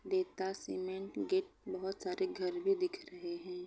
देता सीमेंट गेत बहुत सारे घर भी दिख रहे है।